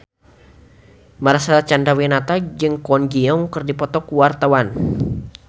Marcel Chandrawinata jeung Kwon Ji Yong keur dipoto ku wartawan